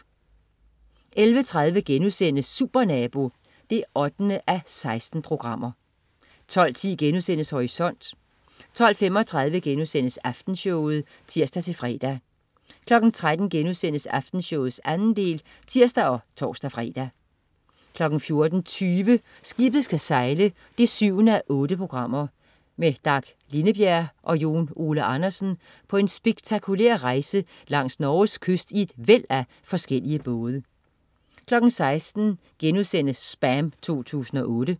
11.30 Supernabo 8:16* 12.10 Horisont* 12.35 Aftenshowet* (tirs-fre) 13.00 Aftenshowet 2. del* (tirs og tors-fre) 14.20 Skibet skal sejle 7:8. Med Dag Lindebjerg og Jon Ole Andersen på en spektakulær rejse langs Norges kyst i et væld af forskellige både 16.00 SPAM 2008*